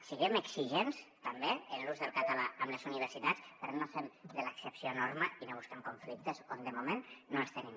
siguem exigents també en l’ús del català amb les universitats però no fem de l’excepció norma i no busquem conflictes on de moment no els tenim